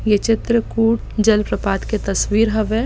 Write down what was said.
ये चित्रकूट जल प्रपात के तस्वीर हवय